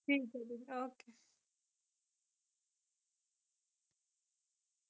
ਠੀਕ ਹੈ ਜੀ ਓਕੇ ।